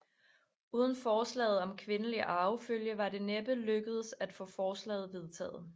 Uden forslaget om kvindelig arvefølge var det næppe lykkedes at få forslaget vedtaget